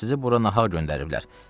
Ancaq sizi bura nağar göndəriblər.